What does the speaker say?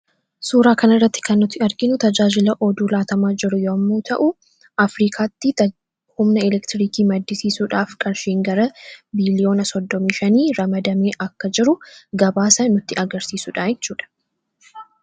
suuraa kana irratti kannuti arginu tajaajila oduu laatamaa jiru yommu ta'u afrikaatti humna elektiriikii maddisiisuudhaaf qarshiin gara biiliyoona 35 ramadamee akka jiru gabaasa nutti agarsiisuudhacudha